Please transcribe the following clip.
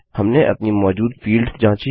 हमने अपनी मौजूद फील्ड्स जाँची